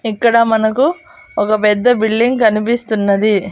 ఇక్కడ మనకు ఒక పెద్ద బిల్డింగ్ కనిపిస్తున్నది.